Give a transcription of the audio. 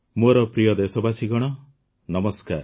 ମୋର ପ୍ରିୟ ଦେଶବାସୀଗଣ ନମସ୍କାର